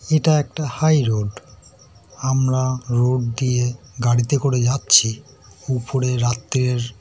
এটা একটা high road আমরা রোড দিয়ে গাড়িতে করে যাচ্ছি উপরে রাত্রের--